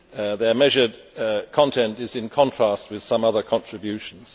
Their measured content is in contrast with some other contributions.